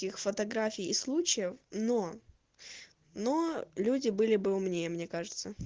фотографии случаев но но люди были бы умнее мне кажется